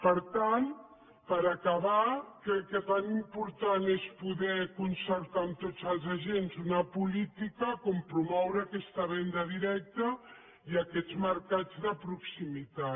per tant per acabar crec que tan important és poder concertar amb tots els agents una política com promoure aquesta venda directa i aquests mercats de proximitat